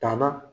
Tanna